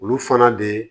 Olu fana de